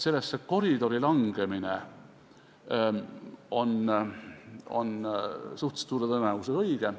Sellesse koridori langemine on suhteliselt suure tõenäosusega õige.